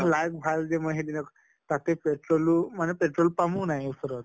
ভাল যে মই সিদিনা তাতে petrol ও মানে petrol pump ও নাই ওচৰত